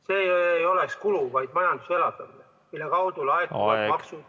See ei oleks kulu, vaid majanduse elavdamine, mille kaudu laekuks riigieelarvesse maksu.